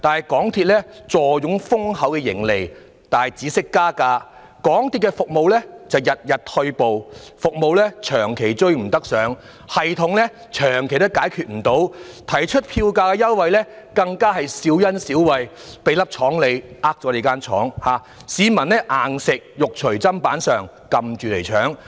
港鐵公司坐擁豐厚盈利，但只懂加價，港鐵服務卻日日退步，服務長期滯後，系統問題長期未能解決，提出的票價優惠更是小恩小惠，"給你一粒糖，卻騙了你一間廠"，市民要"硬食"，肉隨砧板上，被"㩒住搶"。